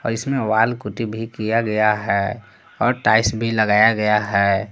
इसमें wall putty भी किया गया है और टाइल्स भी लगाया गया है।